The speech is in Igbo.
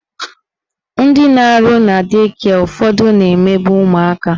Ndị na-arụ na dei kịe ụfọdụ na-emegbu ụmụaka